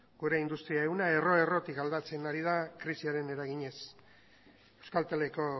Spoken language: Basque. gure industri ehuna erro errotik aldatzen ari da krisiaren eraginez euskalteleko